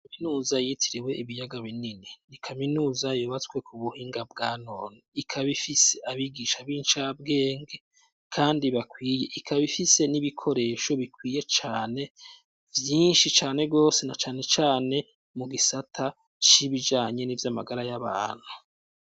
Kaminuza yitiriwe ibiyaga binini, ni kaminuza yubatswe ku buhinga bwa none. Ikaba ifise abigisha b'incabwenge kandi bakwiye . Ikaba ifise n'ibikoresho bikwiye cane vyinshi cane rwose, na canecane mu gisata c'ibijanye n'ivyo amagara y'abantu.